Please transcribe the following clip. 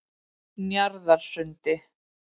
Njarðarsundi